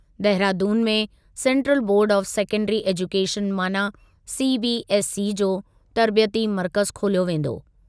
देहरादून में central board of secondary education माना CBSE जो तर्बियती मर्कज़ु खोलियो वेंदो।